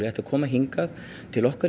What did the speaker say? ættu að koma til okkar